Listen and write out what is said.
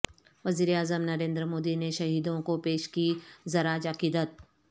وزیراعظم نریندر مودی نے شہیدوں کو پیش کی ضراج عقیدت